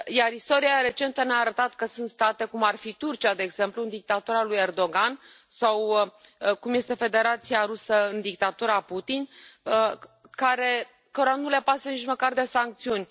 Istoria recentă ne a arătat că sunt state, cum ar fi Turcia, de exemplu, cu dictatura lui Erdogan, sau cum este Federația Rusă, cu dictatura Putin, cărora nu le pasă nici măcar de sancțiuni.